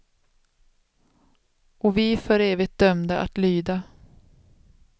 Och vi för evigt dömda att lyda.